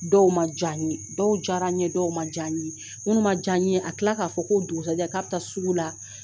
Dɔw ma diya n ye dɔw diyara n ye dɔw ma diya n ye minnu ma diya n ye a tila k'a fɔ k'o dugusajɛ k'a taa bi sugu la